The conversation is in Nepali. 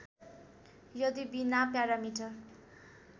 यदि बिना प्यारामिटर